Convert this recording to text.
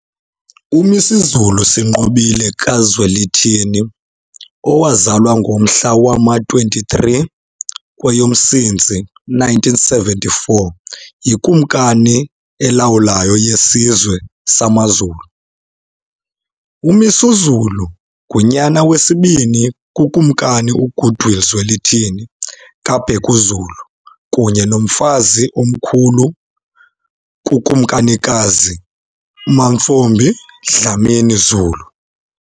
UMisuzulu Sinqobile kaZwelithini, owazalwa ngomhla wama-23 kweyoMsintsi 1974, yiKumkani elawulayo yesizwe samaZulu. UMisuzulu ngunyana wesibini kuKumkani uGoodwill Zwelithini kaBhekuzulu kunye noMfazi Omkhulu uKumkanikazi uMantfombi Dlamini Zulu.